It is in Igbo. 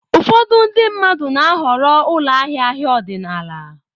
Ụfọdụ ndị mmadụ na-ahọrọ ụlọ ahịa ahịa ọdịnala.